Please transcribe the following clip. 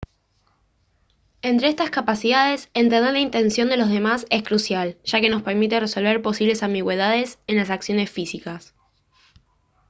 entre estas capacidades entender la intención de los demás es crucial ya que nos permite resolver posibles ambigüedades en las acciones físicas